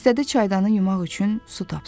İstədi çaydanı yumaq üçün su tapsın.